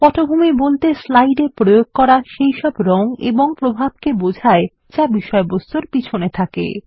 পটভূমি বলতে স্লাইড এ প্রয়োগ করা সেইসব রং এবং প্রভাবকে বোঝায় যা বিষয়বস্তুর পিছনে থাকে